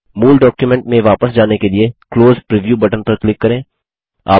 मूल डॉक्युमेंट में वापस जाने के लिए क्लोज प्रीव्यू बटन पर क्लिक करें